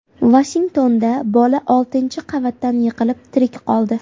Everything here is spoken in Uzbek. Vashingtonda bola oltinchi qavatdan yiqilib, tirik qoldi.